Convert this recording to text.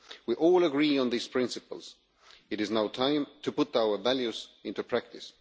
We all agree on these principles, it is now time to put our values into practice.